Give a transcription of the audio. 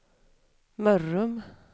Mörrum